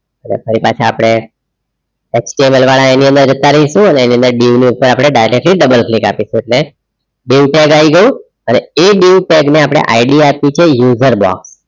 ફરી પાછા આપણે explorer વાળા area માં જતા રહીશું એની અંદર dieu ની ઉપર directly double click આપીશું એટલે dieu tag આવી ગયું એ dieu tag ને આપણે ID આપીશુ user box